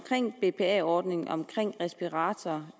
bpa ordningen om respiratorordningen